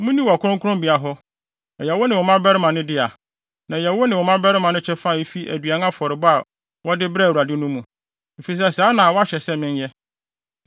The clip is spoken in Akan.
Munni wɔ kronkronbea hɔ. Ɛyɛ wo ne wo mmabarima no dea, na ɛyɛ wo ne wo mmabarima no kyɛfa a efi aduan afɔrebɔ a wɔde brɛɛ Awurade no mu; efisɛ saa na wɔahyɛ sɛ menyɛ.